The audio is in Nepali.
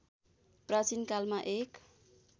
प्राचीनकालमा एक